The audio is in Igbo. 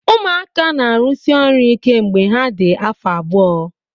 Ụmụaka na-arụsi ọrụ ike mgbe ha dị afọ abụọ